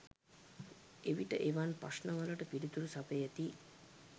එවිට එවන් ප්‍රශ්න වලට පිළිතුරු සපයති යි